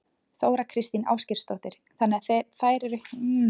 Þóra Kristín Ásgeirsdóttir: Þannig að þær eru hjálpar þurfi?